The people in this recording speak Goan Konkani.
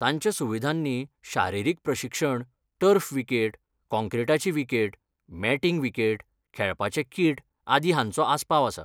तांच्या सुविधांनी शारिरीक प्रशिक्षण, टर्फ विकेट, काँक्रीटाची विकेट, मॅटींग विकेट, खेळपाचें किट आदी, हांचो आस्पाव आसा.